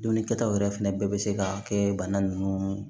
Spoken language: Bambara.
Dunnikɛtaw yɛrɛ fɛnɛ bɛɛ bɛ se ka kɛ bana nunnu